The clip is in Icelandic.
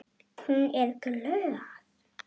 Hún er glöð.